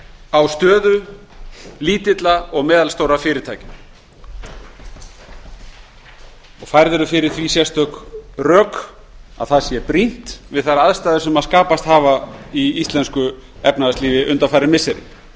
á stöðu lítilla og meðalstórra fyrirtækja og færð eru fyrir því sérstök rök að það sé brýnt við þær aðstæður sem skapast hafa í íslensku efnahagslífi undanfarin missiri